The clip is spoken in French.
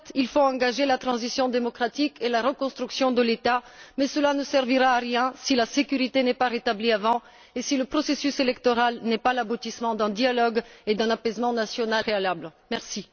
Certes, il faut engager la transition démocratique et la reconstruction de l'État, mais cela ne servira à rien si la sécurité n'est pas rétablie avant et si le processus électoral n'est pas l'aboutissement d'un dialogue et d'un apaisement à l'échelle nationale.